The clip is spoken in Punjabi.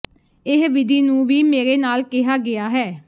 ਇਹ ਵਿਧੀ ਨੂੰ ਵੀ ਮੇਰੇ ਨਾਲ ਕਿਹਾ ਗਿਆ ਹੈ